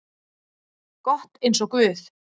gott eins og guð.